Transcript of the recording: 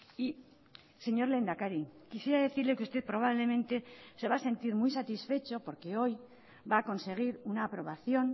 y señor lehendakari quisiera decirle que usted probablemente se va a sentir muy satisfecho porque hoy va a conseguir una aprobación